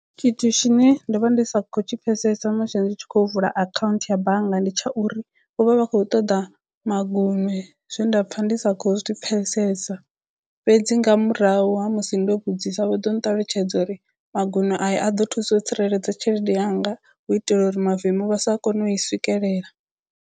Tshithu tshine ndo vha ndi sa khou tshi pfhesesa musi ndi tshi khou vula akhaunthu ya bannga ndi tsha uri vho vha vha khou ṱoḓa magunwe zwe nda pfha ndi sa khou zwi pfesesa fhedzi nga murahu ha musi ndo vhudzisa vho ḓo nṱalutshedza uri magunwe aya a ḓo thusa u tsireledza tshelede yanga hu itela uri mavemu vha sa kone u i swikelela.